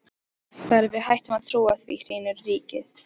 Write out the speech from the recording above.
Þegar við hættum að trúa því, hrynur ríkið!